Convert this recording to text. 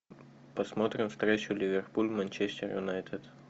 посмотрим встречу ливерпуль манчестер юнайтед